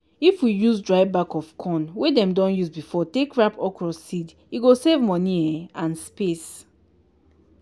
if we use dry back of corn wey dem don use before take wrap okra seed e go save money um and space.